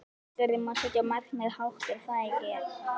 Við þurfum að setja markmiðin hátt er það ekki?